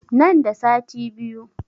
Nan da sati biyu